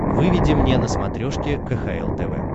выведи мне на смотрешке кхл тв